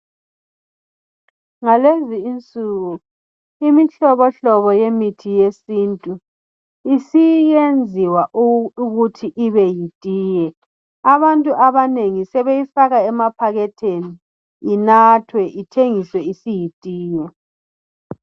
Ngalezi insuku imihlobo hlobo yemithi yesintu isiyenziwa ukuthi ibe yitiye abantu abanengi sebeyifaka emaphakethini inathwe ithengiswe isiyitiye.